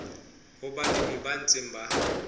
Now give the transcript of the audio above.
ho balemi ba ntseng ba